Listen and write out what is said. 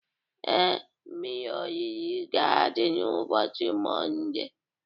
Ee, mmiri orire ga-adị n'ụbọchị Mọnde